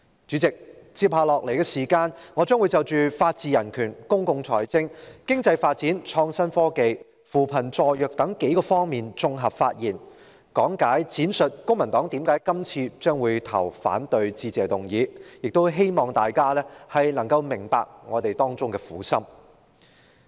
主席，接下來的時間，我將會就法治人權、公共財政、經濟發展、創新科技、扶貧助弱等數方面作綜合發言，講解並闡述公民黨為何會反對是次的致議議案，希望大家明白我們的苦心。